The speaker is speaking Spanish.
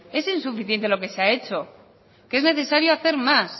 es insuficiente lo que se ha hecho que es necesario hacer más